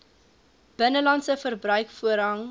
binnelandse verbruik voorrang